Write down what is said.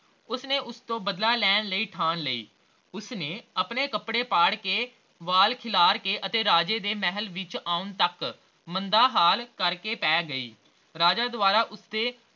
ਉਸਨੇ ਉਸਤੋਂ ਬਦਲਾ ਲੈਣ ਲਈ ਥਾਨ ਲਈ, ਉਸਨੇ ਆਪਣੇ ਕੱਪੜੇ ਪਾੜ ਕੇ ਵਾਲ ਖਿਲਾਰਕੇ ਅਤੇ ਰਾਜੇ ਦੇ ਮਹਿਲ ਵਿਚ ਆਉਣ ਤਕ ਮੰਦਾ ਹਾਲ ਕਰਕੇ ਪਹ ਗਈ